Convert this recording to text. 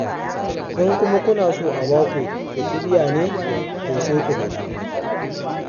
In kuma kuna so a ba ku ku ƙi biya ne, to sai ku faɗa.